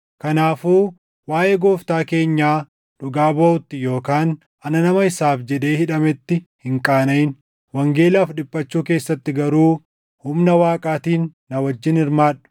Kanaafuu waaʼee Gooftaa keenyaa dhugaa baʼuutti yookaan ana nama isaaf jedhee hidhametti hin qaanaʼin. Wangeelaaf dhiphachuu keessatti garuu humna Waaqaatiin na wajjin hirmaadhu;